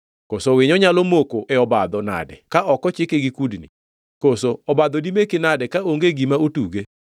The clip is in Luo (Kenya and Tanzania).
Koso winyo nyalo moko e obadho nade ka ok ochike gi kudni? Koso obadho dimeki nade kaonge gima otuge?